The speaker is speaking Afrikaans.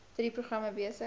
drie programme besig